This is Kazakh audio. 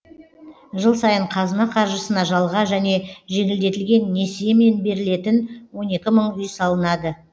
жыл сайын қазына қаржысына жалға және жеңілдетілген несиемен берілетін он екі мың үй салынады